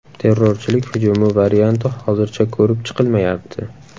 Terrorchilik hujumi varianti hozircha ko‘rib chiqilmayapti.